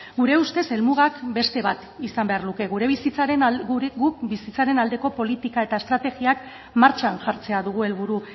gure ustez helmuga beste bat izan beharko luke gu bizitzaren aldeko politika eta estrategiak martxan jartzea dugu helburu